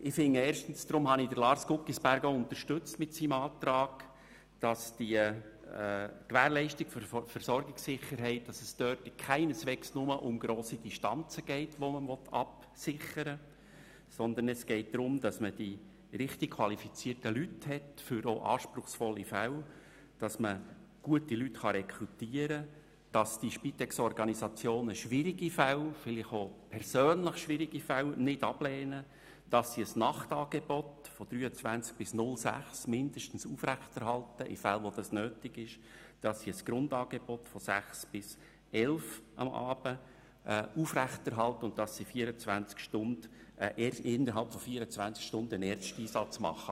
Erstens geht es – deshalb habe ich Lars Guggisberg in seiner Planungserklärung unterstützt – bei der Gewährleistung der Versorgungssicherheit keineswegs nur um grosse Distanzen, welche man absichern will, sondern darum, die richtig qualifizierten Leute auch für anspruchsvolle Fälle zu haben, dass man gute Leute rekrutieren kann, dass die Spitexorganisationen schwierige, vielleicht auch persönlich schwierige Fälle nicht ablehnen, dass sie ein Nachtangebot von 23.00 bis mindestens 06.00 Uhr aufrechterhalten, in Fällen, wo es nötig ist, dass sie ein Grundangebot von 18.00 bis 23.00 Uhr abends aufrechterhalten und dass sie innerhalb von 24 Stunden einen Ersteinsatz leisten.